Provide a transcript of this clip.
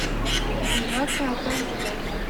хираката